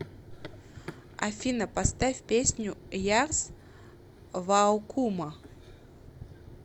афина поставь песню ярс ваукума